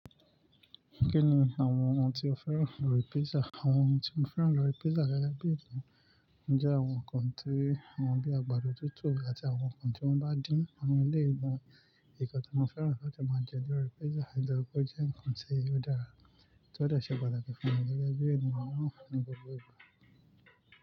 Kí ni àwọn ohun tí o fẹ́ràn lórí pizza? Àwọn ohun tí mo fẹ́ràn lórí pizza gẹ́gẹ́ bí ènìyàn jẹ́ àwọn ohun kan tí wọ́n bíi àgbàdo tútù àti àwọn ohun tí wọ́n bá dín. Àwọn eléyìí gan-an, nǹkan tí mo fẹ́ràn láti máa jẹ lórí pizza nitori pe o jẹ́ ǹkan tí ó dára tí ó dẹ ṣe pàtàkì fún mi gẹ́gẹ́ bí ènìyàn náà ní gbogbo ìgbà.